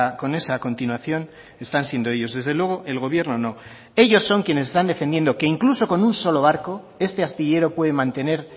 con esa continuación están siendo ellos desde luego el gobierno no ellos son quienes están defendiendo que incluso con un solo barco este astillero puede mantener